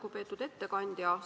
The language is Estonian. Lugupeetud ettekandja!